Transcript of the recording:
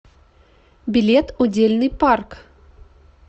билет удельный парк